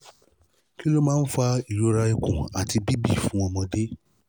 kí ló máa ń fa ìrora ikun àti bibi fun ọmọde?